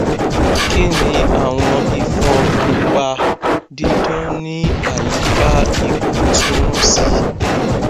kini awọn ifon pupa didan ni ayika ikun tumọ si